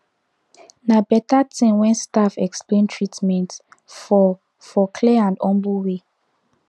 na better thing when staff explain treatment for for clear and humble way